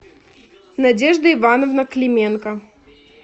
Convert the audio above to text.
надежда ивановна клименко